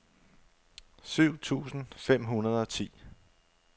syv tusind fem hundrede og ti